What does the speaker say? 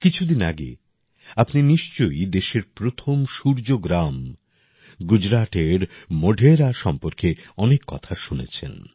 কিছুদিন আগে আপনি নিশ্চয়ই দেশের প্রথম সূর্য গ্রাম গুজরাটের মোঢেরা সম্পর্কে অনেক কথা শুনেছেন